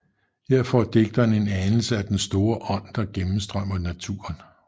Her får digteren en anelse af den store ånd der gennemstrømmer naturen